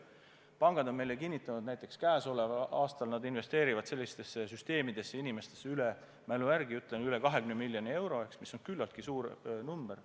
Pangad on meile kinnitanud, näiteks käesoleval aastal nad investeerivad sellistesse süsteemidesse – ma mälu järgi ütlen – üle 20 miljoni euro, mis on küllaltki suur number.